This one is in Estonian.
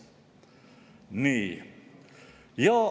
Nii.